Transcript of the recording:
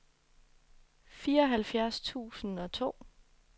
fireoghalvfjerds tusind og to